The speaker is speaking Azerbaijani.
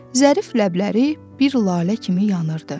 Zərif ləbləri bir lalə kimi yanırdı.